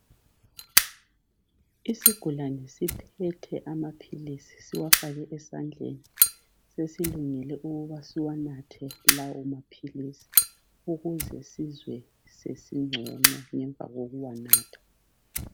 Isigulani siphethe amaphilisi siwafake esandleni sesilungele ukuba siwanathe lawo maphilisi ukuze sizwe sesingcono ngemva kokuwanatha.